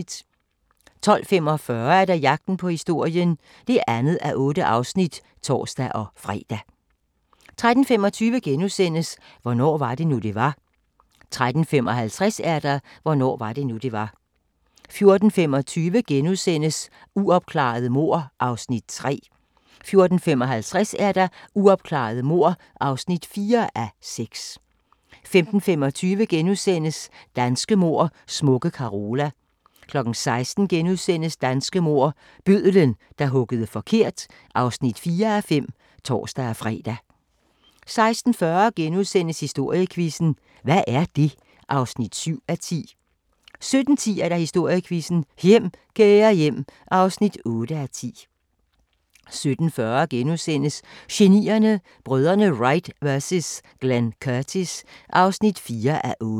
12:45: Jagten på historien (2:8)(tor-fre) 13:25: Hvornår var det nu, det var? * 13:55: Hvornår var det nu, det var? 14:25: Uopklarede mord (3:6)* 14:55: Uopklarede mord (4:6) 15:25: Danske mord: Smukke Carola (3:5)* 16:00: Danske mord - Bødlen, der huggede forkert (4:5)*(tor-fre) 16:40: Historiequizzen: Hvad er det? (7:10)* 17:10: Historiequizzen: Hjem Kære Hjem (8:10) 17:40: Genierne: Brødrene Wright vs Glenn Curtis (4:8)*